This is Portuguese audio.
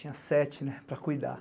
Tinha sete, né, para cuidar.